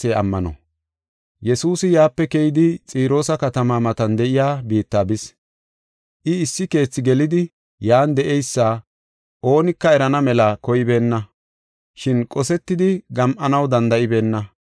Yesuusi yaape keyidi, Xiroosa katama matan de7iya biitta bis. I issi keethi gelidi yan de7eysa oonika erana mela koybeenna. Shin qosetidi gam7anaw danda7ibeenna.